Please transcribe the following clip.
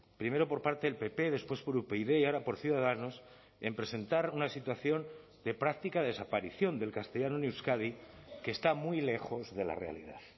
primero por parte del pp después por upyd y ahora por ciudadanos en presentar una situación de práctica desaparición del castellano en euskadi que está muy lejos de la realidad